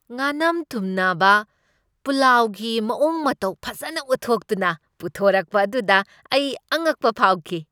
ꯉꯥꯅꯝ ꯊꯨꯝꯅꯕ ꯄꯨꯂꯥꯎꯒꯤ ꯃꯑꯣꯡ ꯃꯇꯧ ꯐꯖꯅ ꯎꯠꯊꯣꯛꯇꯨꯅ ꯄꯨꯊꯣꯛꯔꯛꯄ ꯑꯗꯨꯗ ꯑꯩ ꯑꯉꯛꯄ ꯐꯥꯎꯈꯤ꯫